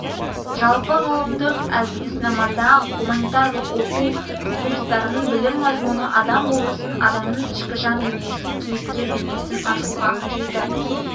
жалпы ғылымдық әдіснамада гуманитарлық оқу курстарының білім мазмұны адам болмысын адамның ішкі жан дүниесін кейіпкер бейнесін ашуға қажетті